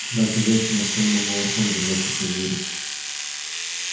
дальше женщина сонным малышом держащимся за её руку